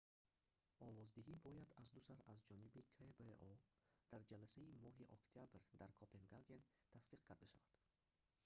овоздиҳӣ бояд аздусар аз ҷониби кбо дар ҷаласаи моҳи октябр дар копенгаген тасдиқ карда шавад